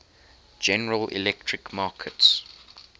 general electric markets